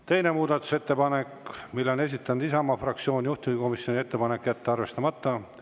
Teine muudatusettepanek, mille on esitanud Isamaa fraktsioon, juhtivkomisjoni ettepanek on jätta see arvestamata.